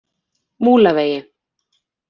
Múlavegi